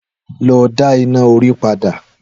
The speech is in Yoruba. Lọ dá iná orí padà